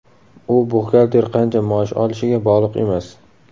U buxgalter qancha maosh olishiga bog‘liq emas.